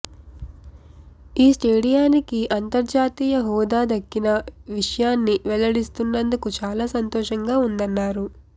ఈ స్టేడియానికి అంతర్జాతీయ హోదా దక్కిన విషయాన్ని వెల్లడిస్తున్నందుకు చాలా సంతోషంగా ఉందన్నారు